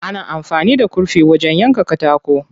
Ana amfani da kurfi wajen yanka katako.